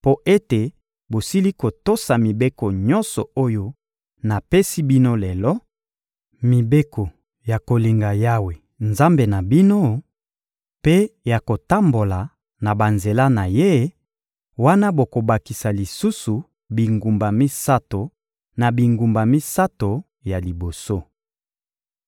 mpo ete bosili kotosa mibeko nyonso oyo napesi bino lelo, mibeko ya kolinga Yawe, Nzambe na bino, mpe ya kotambola na banzela na Ye, wana bokobakisa lisusu bingumba misato na bingumba misato ya liboso.